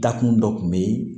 Dakun dɔ kun be yen